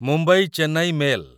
Mumbai Chennai mail